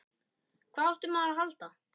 Hvað átti maður að halda?